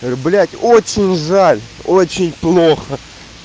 блядь очень жаль очень плохо